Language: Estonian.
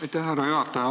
Aitäh, härra juhataja!